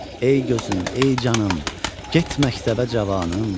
Ey gözüm, ey canım, get məktəbə cavanım.